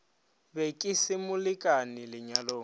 be ke se molekane lenyalong